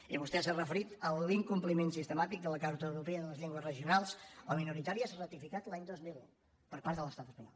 i vostè s’ha referit a l’incompliment sistemàtic de la carta europea de les llengües regionals o minoritàries ratificada l’any dos mil un per part de l’estat espanyol